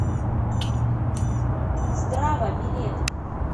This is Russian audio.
здрава билет